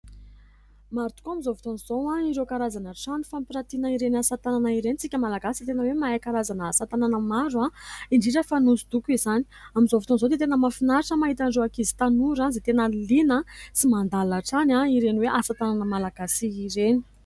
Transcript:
Maro tokoa amin'izao fotoan'izao ireo karazana trano fampiratiana ireny asa-tanana ireny isika Malagasy dia tena hoe mahay karazana asa-tanana maro indrindra fa ny hosodoko izany amin'izao fotoan'izao dia tena mahafinaritra mahita an'ireo ankizy sy tanora izay tena liana sy mandala hatrany ireny hoe asa tanana Malagasy ireny.